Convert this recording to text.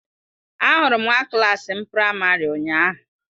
Ahụrụ m nwa klas m praịmarị ụnyahụ.